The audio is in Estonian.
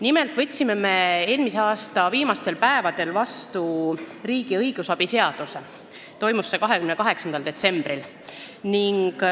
Nimelt võtsime me eelmise aasta viimastel päevadel vastu riigi õigusabi seaduse, täpsemalt 28. detsembril.